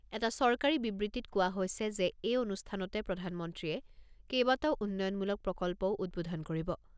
এটা চৰকাৰী বিবৃতিত কোৱা হৈছে যে এই অনুষ্ঠানতে প্ৰধানমন্ত্ৰীয়ে কেইবাটাও উন্নয়নমূলক প্ৰকল্পও উদ্বোধন কৰিব।